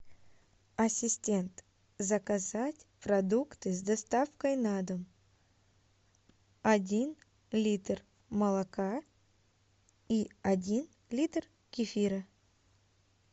ассистент заказать продукты с доставкой на дом один литр молока и один литр кефира